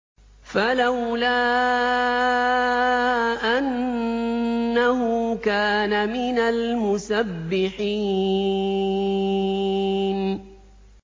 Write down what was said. فَلَوْلَا أَنَّهُ كَانَ مِنَ الْمُسَبِّحِينَ